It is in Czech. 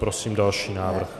Prosím další návrh.